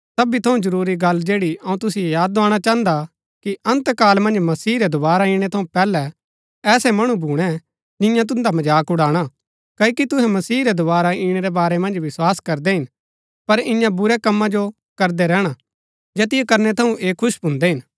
सबी थऊँ जरूरी गल्ल जैड़ी अऊँ तुसिओ याद दोआणा चाहन्दा कि अन्त काल मन्ज मसीह रै दोवारा इणै थऊँ पैहलै ऐसै मणु भूणै जिन्या तुन्दा मजाक उड़ाणा क्ओकि तुहै मसीह रै दोवारा इणै रै बारै मन्ज विस्वास करदै हिन पर इन्या बुरी कमा जो करदै रैहणा जैतिओ करनै थऊँ ऐह खुश भून्दै हिन